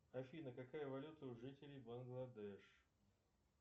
афина какая валюта у жителей бангладеш